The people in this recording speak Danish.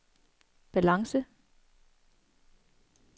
balance